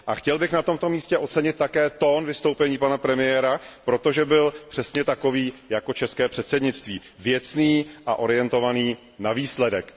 A chtěl bych na tomto místě ocenit také tón vystoupení pana premiéra, protože byl přesně takový jako české předsednictví, věcný a orientovaný na výsledek.